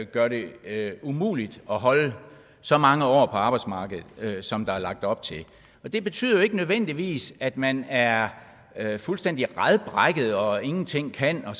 gør det umuligt at holde så mange år på arbejdsmarkedet som der er lagt op til det betyder jo ikke nødvendigvis at man er er fuldstændig radbrækket og ingenting kan og